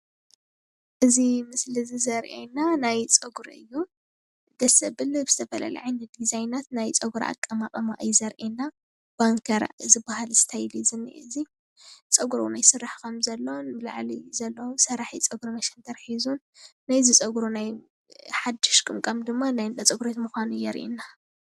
እዚ ምስሊ እዚ ዘሪኢና ናይ ፀጉሪ እዩ ።ደስ ዘብል ዝተፈላለዩ ዓይነት ዲዛይናት ናይ ፀጉሪ አቀማቅማ እዩ ዘሪኢና ባንከር ዝበሃል ስታይል እዩ ዝኒሄ እዚ ፀጉሩ እዉን ይስራሕ ከም ዘሎ ብላዕሊ ዘሎ ሰብ ሰራሒ ፀጉሪ መሸንተር ሒዙ ናይዚ ፀጉሪ ናይ ሓድሽ ቅምቃም ድማ ናይ እንዳ ፀጉሪ ቤት ምኻኑ የሪኢና።